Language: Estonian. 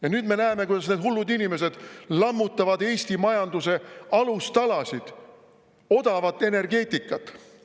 Ja nüüd me näeme, kuidas need hullud inimesed lammutavad Eesti majanduse alustalasid, odavat energeetikat.